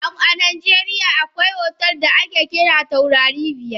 A najeriya akwai otel da ake kira taurari biyar.